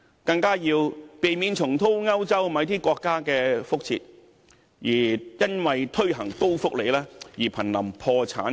更加要避免重蹈某些歐洲國家的覆轍，因為推行高福利而瀕臨破產邊緣。